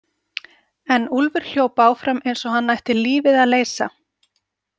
En Úlfur hljóp áfram eins og hann ætti lífið að leysa.